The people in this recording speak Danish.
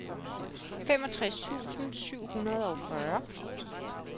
femogtres tusind syv hundrede og fyrre